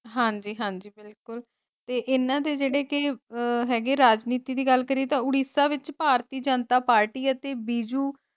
ਹਾਂਜੀ-ਹਾਂਜੀ ਬਿਲਕੁਲ ਤੇ ਏਨਾ ਦੇ ਜਿਹੜੇ ਕੇ ਹੈਗੇ ਰਾਜਨੀਤੀ ਦੀ ਗੱਲ ਕਰੀਏ ਤਾ ਉੜੀਸਾ ਵਿਚ ਭਾਰਤੀ ਜਨਤਾ ਪਾਰਟੀ ਅਤੇ ਬੀਜੁ।